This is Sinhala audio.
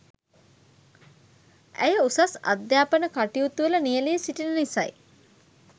ඇය උසස් අධ්‍යාපන කටයුතුවල නියැලී සිටින නිසයි.